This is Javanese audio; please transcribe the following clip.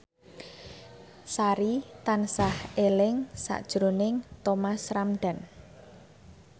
Sari tansah eling sakjroning Thomas Ramdhan